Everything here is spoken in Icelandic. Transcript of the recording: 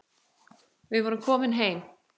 Við vorum komin heim.